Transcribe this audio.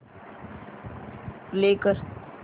play कर